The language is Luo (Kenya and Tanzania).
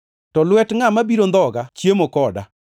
To lwet ngʼat ma biro ndhoga chiemo koda.